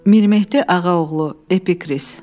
Mirmehdi Ağaoğlu epikris.